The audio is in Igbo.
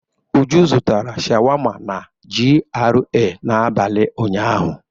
Uju zụtara sháwámá na GRA n'abalị ụnyahụ.